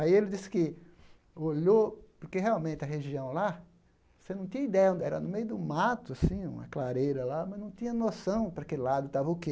Aí ele disse que olhou, porque realmente a região lá, você não tinha ideia, era no meio de um mato assim, uma clareira lá, mas não tinha noção para que lado estava o quê.